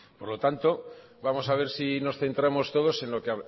por lo tanto vamos a ver si nos centramos todos en lo que